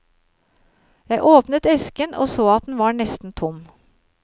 Jeg åpnet esken og så at den var nesten tom.